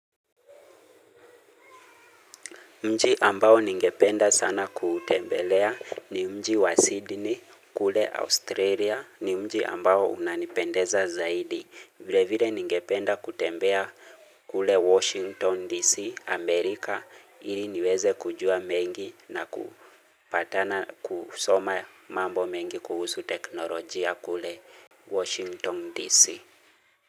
Mji ambao ningependa sana kutembelea ni mji wa Sydney kule Australia ni mji ambao unanipendeza zaidi. Vile vile ningependa kutembea kule Washington DC Amerika ili niweze kujua mengi na kusoma mambo mengi kuhusu teknolojia kule Washington DC.